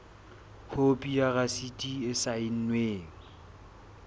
khopi ya rasiti e saennweng